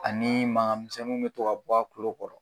Ani mangamisɛnnu bɛ to ka bɔ a kulu kɔrɔ